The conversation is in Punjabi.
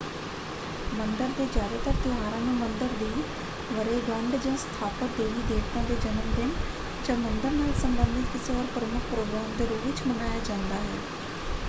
ਮੰਦਰ ਦੇ ਜਿਆਦਾਤਰ ਤਿਉਹਾਰਾਂ ਨੂੰ ਮੰਦਰ ਦੀ ਵਰੇਗੰਢ੍ਹ ਜਾਂ ਸਥਾਪਤ ਦੇਵੀ -ਦੇਵਤਾ ਦੇ ਜਨਮਦਿਨ ਜਾਂ ਮੰਦਰ ਨਾਲ ਸੰਬੰਧਤ ਕਿਸੇ ਹੋਰ ਪ੍ਰਮੁੱਖ ਪ੍ਰੋਗਰਾਮ ਦੇ ਰੂਪ ਵਿੱਚ ਮਨਾਇਆ ਜਾਂਦਾ ਹੈ।